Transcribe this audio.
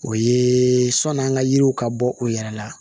O ye sɔni an ka yiriw ka bɔ u yɛrɛ la